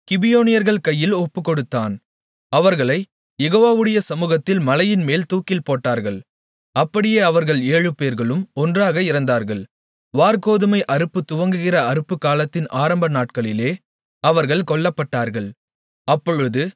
அவர்களைக் கிபியோனியர்கள் கையில் ஒப்புக்கொடுத்தான் அவர்களைக் யெகோவாவுடைய சமூகத்தில் மலையின்மேல் தூக்கில்போட்டார்கள் அப்படியே அவர்கள் ஏழுபேர்களும் ஒன்றாக இறந்தார்கள் வாற்கோதுமை அறுப்பு துவங்குகிற அறுப்புக்காலத்தின் ஆரம்ப நாட்களிலே அவர்கள் கொல்லப்பட்டார்கள்